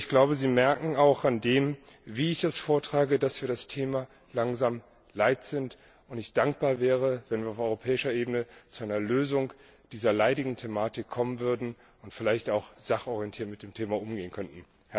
Ich glaube, Sie merken auch an dem, wie ich ihn vortrage, dass wir das Thema langsam leid sind und ich dankbar wäre, wenn wir auf europäischer Ebene zu einer Lösung dieser leidigen Thematik kommen würden und vielleicht auch sachorientiert mit dem Thema umgehen könnten.